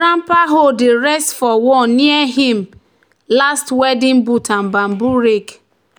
"grandpa hoe dey rest for wall near him him last weeding boot and bamboo rake."